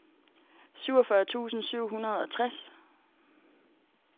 syvogfyrre tusind syv hundrede og tres